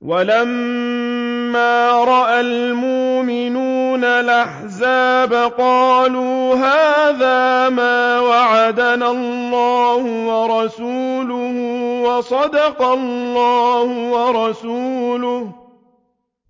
وَلَمَّا رَأَى الْمُؤْمِنُونَ الْأَحْزَابَ قَالُوا هَٰذَا مَا وَعَدَنَا اللَّهُ وَرَسُولُهُ وَصَدَقَ اللَّهُ وَرَسُولُهُ ۚ